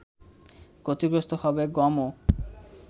ক্ষতিগ্রস্ত হবে গমও